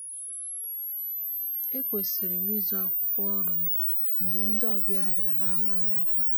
ekwesịrị m izoo akwụkwọ ọrụ m mgbe ndị ọbịa bịara n'amaghị ọkwa